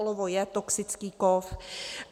Olovo je toxický kov.